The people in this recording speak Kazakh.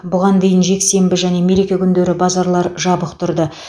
бұған дейін жексенбі және мереке күндері базарлар жабық тұрды